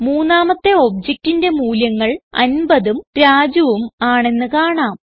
മൂന്നാമത്തെ objectന്റെ മൂല്യങ്ങൾ 50ഉം Rajuഉം ആണെന്ന് കാണാം